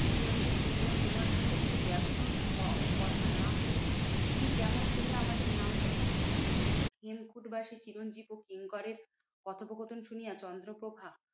চিরঞ্জিত কহিলেন তোমার সঙ্গে যদি দেখা ও কথা না হইবে, উনি কেমন করিয়া আমাদের নাম জানিলেন? হেমকুট বাসি চিরঞ্জিত ও কিঙ্করের কথোপকথন শুনিয়া চন্দ্রপ্রভা